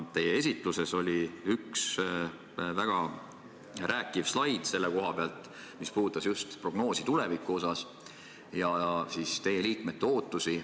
Teie esitluses oli üks väga kõnekas slaid selle koha pealt, mis puudutas just tulevikuprognoosi ja teie liikmete ootusi.